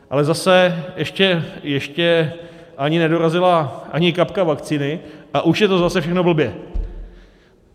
Ale zase, ještě ani nedorazila ani kapka vakcíny, a už je to zase všechno blbě.